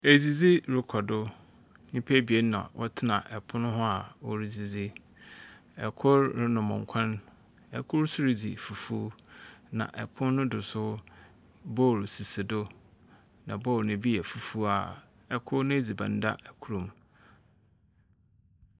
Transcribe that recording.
Edzidzi rekɔdo, nipa ebien na wɔte ɛpon ho a wɔn edzidzi. Ɛ kor renom ɛnkwan, ɛ kor so redzi fufuu na ɛpon no do so bool sisi do na bool no ebi yɛ fufuw a , ɛ kor n'dziban da ɛ kor mu.